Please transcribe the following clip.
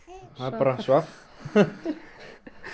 hann bara svaf